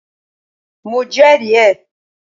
Mo jẹ́rì ẹ́